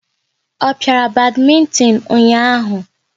Ọ piara badmintin ụnyaahụ?